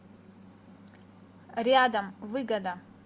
рядом выгода